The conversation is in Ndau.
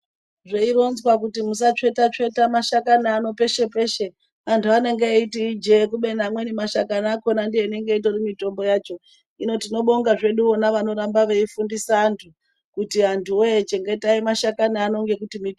Zveronzwa kuti musatsveta tsveta mashakani enyu peshe peshe andu anenge eiti ijee kubeni amweni mashakani akona ndianenge itori mutombo yacho hino tino bonga vona vanorambe veitofundisa vandu kuti andu woye chengetai mashakani ano ngekuti mutombo.